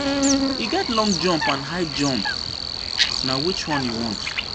E get long jump and high and high jump, na which one you want?